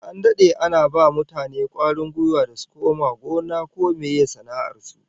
An dade ana ba mutane kwarin gwiwa da su koma gona ko meye sana'ar su